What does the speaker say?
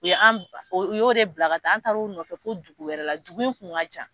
U ye an , u y'o de bila ka taa an taar'a nɔfɛ fo dugu wɛrɛ la, dugu in kun ka jan.